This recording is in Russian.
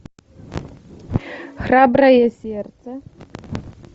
храброе сердце